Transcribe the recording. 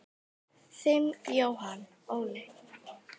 Þinn Jóhann Óli.